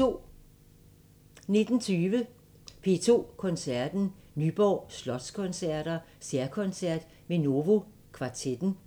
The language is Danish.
19:20: P2 Koncerten – Nyborg Slotskoncerter særkoncert med Novo Kvartetten